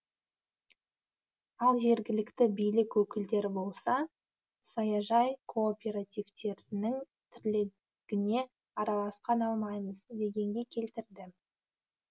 ал жергілікті билік өкілдері болса саяжай кооперативтерінің тірлігіне араласа алмаймыз дегенге келтірді